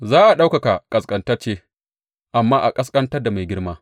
Za a ɗaukaka ƙasƙantacce, amma a ƙasƙantar da mai girma.